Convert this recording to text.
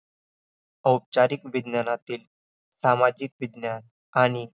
आयु इतित विविध कालाह आयु म्हणजे आयुष्य जन्मापासून मृत्युपर्यंतचा काळ म्हणजे आयु